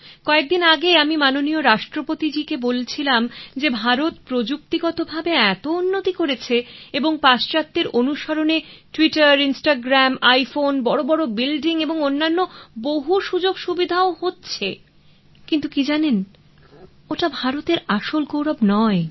কয়েকদিন আগে আমি মাননীয় রাষ্ট্রপতি জিকে বলছিলাম যে ভারত প্রযুক্তিগতভাবে এত উন্নতি করেছে এবং পাশ্চাত্যের অনুসরণে টুইটার ইনস্টাগ্রাম আইফোন বড় বড় বিল্ডিং ও অন্যান্য বহু সুযোগসুবিধা ও হচ্ছে কিন্তু কি জানেন ওটা ভারতের আসল গৌরব নয়